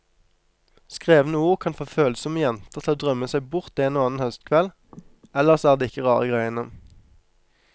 Skrevne ord kan få følsomme jenter til å drømme seg bort en og annen høstkveld, ellers er det ikke rare greiene.